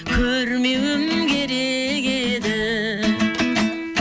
көрмеуім керек еді